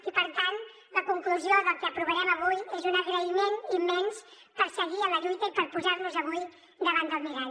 i per tant la conclusió del que aprovarem avui és un agraïment immens pel fet de seguir en la lluita i pel fet de posar nos avui davant del mirall